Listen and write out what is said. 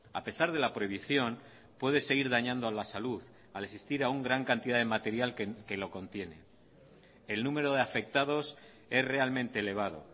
a pesar de la prohibición puede seguir dañando a la salud al existir aún gran cantidad de material que lo contiene el número de afectados es realmente elevado